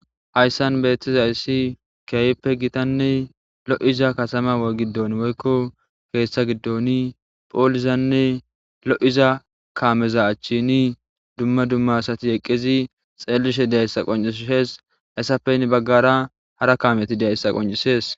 hayssan beethtizayssi kiyayppe gitanne lo7iza katama gidon woykko keeshtha giddoni phoolizanne lo7iza kaameza achchini dumma dumma asati eqqizi xeellishe deyayssa qoncishees hayssape ni baggara hara kaameti deayssa qoncisees